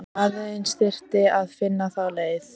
Aðeins þyrfti að finna þá leið.